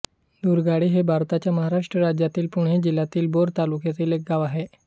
दुर्गाडी हे भारताच्या महाराष्ट्र राज्यातील पुणे जिल्ह्यातील भोर तालुक्यातील एक गाव आहे